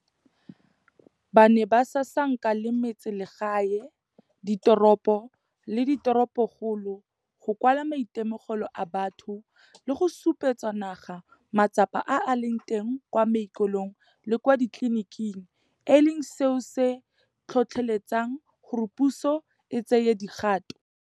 Ba ne ba sasanka le metseselegae, diteropo le diteropokgolo, go kwala maitemogelo a batho le go supetsa naga matsapa a a leng teng kwa maokelong le kwa ditleliniking, e leng seo se tlhotlheletsang gore puso e tsaye dikgato.